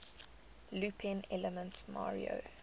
looping elements mario